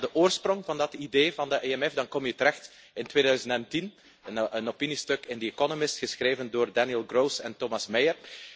Als ik kijk naar de oorsprong van dat idee van de EMF, dan kom je terecht in 2010 bij een opiniestuk in The Economist geschreven door Daniel Gross en Thomas Meyer.